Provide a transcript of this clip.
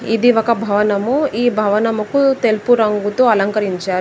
ఇది ఒక భవనము ఈ భవనముకు తెలుపు రంగుతో అలంకరించారు.